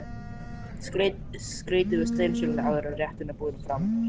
Skreytið með steinseljunni áður en rétturinn er borinn fram.